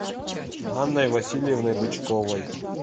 анной васильевной бычковой